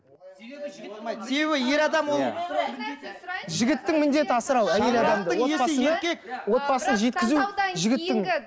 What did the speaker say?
себебі ер адам ол жігіттің міндеті асырау әйел адамды отбасыны отбасын жеткізу жігіттің